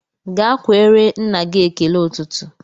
Ga kweere nna gị ekele ụtụtụ!